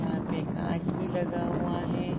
यहां पे कांच भी लगा हुआं है।